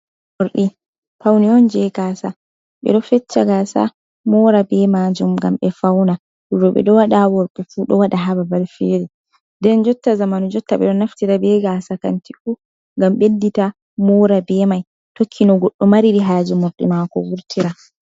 Morɗi faune on je gaasa ɓe ɗo feccha gaasa mora be majum ngam ɓe fauna roɓe ɗo waɗa worɓe fu ɗo waɗa ha babal fere nden jotta zamanu jotta ɓeɗo naftira be gasa kanti fu ngam ɓeddita mora be mai tokkino goɗɗo mari haje morɗi mako vurtira.